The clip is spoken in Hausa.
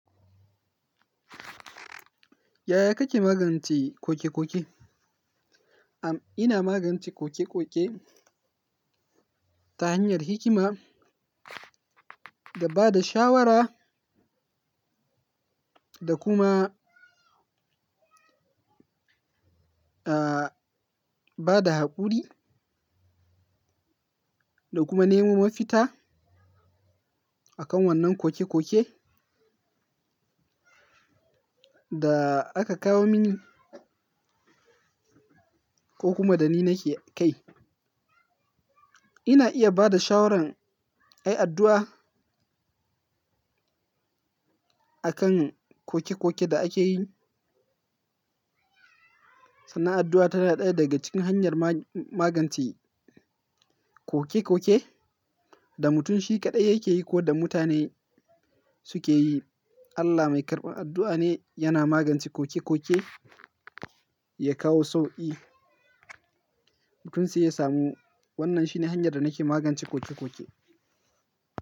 Yaya kake magance koke-koke? Am, ina magance koke-koke ta hanyar hikima da ba da shawara da kuma, ah, ba da haƙuri da kuma nemo mafita akan wannan koke-koke da aka kawo mini ko kuma da ni nake kai. Ina iya bada shawaran ayi addu'a akan koke-koke da ake yi. Sannan addu'a tana ɗaya daga cikin hanyar ma-magance ƙoke-ƙoke da mutum shi kaɗai yake yi ko da mutane suke yi. Allah mai karɓar addu'a ne yana magance koke-koke ya kawo sauƙi mutum sai ya samu. Wannan shi ne hanyar da nake magance koke-koke.